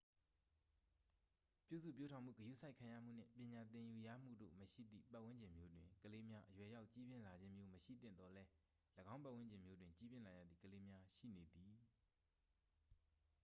ပြုစုပျိုးထောင်မှု ဂရုစိုက်ခံရမှု နှင့် ပညာသင်ယူရမှုတို့မရှိသည့် ပတ်ဝန်းကျင်မျိုးတွင် ကလေးများ အရွယ်ရောက်ကြီးပြင်းလာခြင်းမျိုး မရှိသင့်သော်လည်း ၎င်းပတ်ဝန်းကျင်မျိုးတွင် ကြီးပြင်းလာရသည့်ကလေးများ ရှိနေသည်